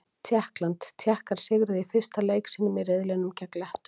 Tékkland: Tékkar sigruðu í fyrsta leik sínum í riðlinum gegn Lettum.